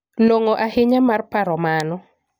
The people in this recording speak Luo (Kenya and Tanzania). Long'o ahinya mar paro mano.